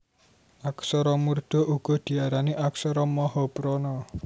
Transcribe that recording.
Aksara murda uga diarani aksara mahaprana